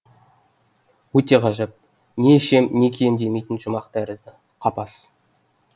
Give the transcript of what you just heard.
өте ғажап не ішем не кием демейтін жұмақ тәрізді қапас